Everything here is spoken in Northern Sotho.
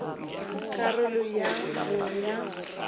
ka karolo ya bo ya